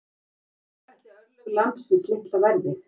En hver ætli örlög lambsins litla verði?